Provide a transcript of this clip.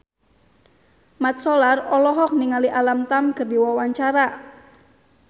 Mat Solar olohok ningali Alam Tam keur diwawancara